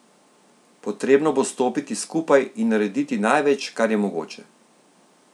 Potrebno bo stopiti skupaj in narediti največ, kar je mogoče.